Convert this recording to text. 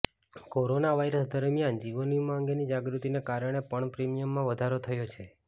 corona virus દરમિયાન જીવન વીમા અંગેની જાગૃતિને કારણે પણ પ્રીમિયમમાં વધારો થયો છે